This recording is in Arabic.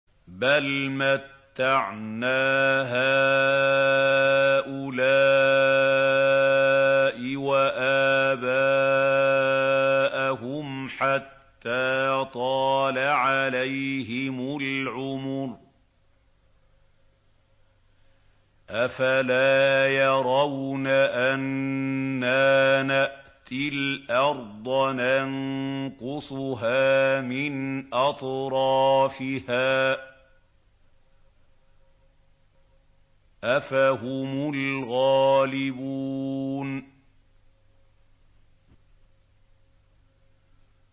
بَلْ مَتَّعْنَا هَٰؤُلَاءِ وَآبَاءَهُمْ حَتَّىٰ طَالَ عَلَيْهِمُ الْعُمُرُ ۗ أَفَلَا يَرَوْنَ أَنَّا نَأْتِي الْأَرْضَ نَنقُصُهَا مِنْ أَطْرَافِهَا ۚ أَفَهُمُ الْغَالِبُونَ